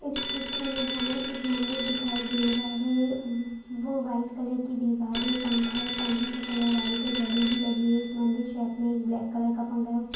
इस चित्र मे हमे एक मंदिर दिखाई दे रहा है वो व्हाइट कलर की दीवारे पंखा पंखे का कलर व्हाइट है घड़ी भी लगी है एक मंदिर शौल्फ मे एक ब्लैक कलर का पंखा है ऊपर--